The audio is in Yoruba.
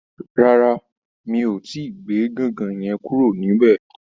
Rárá, mi ò tíì gbé gangan yẹn kúrò níbẹ̀?